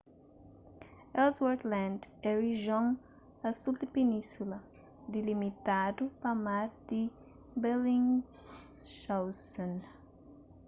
ellsworth land é rijion a sul di península dilimitadu pa mar di bellingshausen